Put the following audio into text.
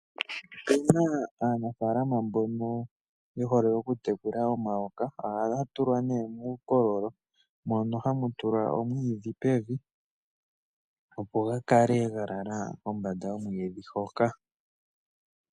Opuna aanafaalama mbono ye hole okutekula omayoka. Ohaga tulwa nee muukololo mono hamu tulwa omwiidhi pevi opo ga kale ga lala kombanda yomwiidhi hoka.